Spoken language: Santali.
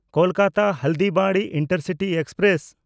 ᱠᱳᱞᱠᱟᱛᱟ–ᱦᱚᱞᱰᱤᱵᱟᱲᱤ ᱤᱱᱴᱟᱨᱥᱤᱴᱤ ᱮᱠᱥᱯᱨᱮᱥ